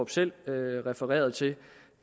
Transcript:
selv refererede til